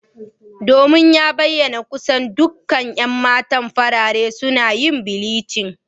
Domin ya bayyana kusan dukkan 'yan mata farare suna yin bleach.